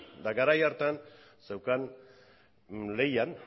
eta garai hartan zeukan lehian